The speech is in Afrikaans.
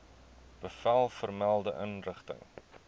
bevel vermelde inrigting